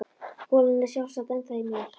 Kúlan er sjálfsagt ennþá í mér.